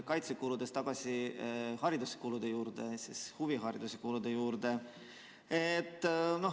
Kaitsekulude juurest tagasi hariduskulude juurde ja siis huvihariduse kulude juurde.